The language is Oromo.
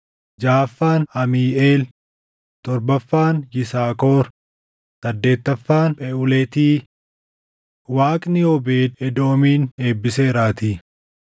jaʼaffaan Amiiʼeel, torbaffaan Yisaakor, saddeettaffaan Pheʼuletii; Waaqni Oobeed Edoomin eebbiseeraatii.